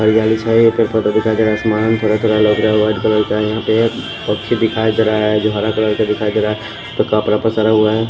हरियाली छाई है ऊपर ऊपर का दिखाई दे रहा है आसमान थोड़ा थोड़ा है यहाँ पे पक्षी दिखाई दे रहा है जो हरा कलर का दिखाई दे रहा है सरा हुआ है।